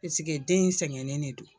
Paseke den in sɛgɛnnen de don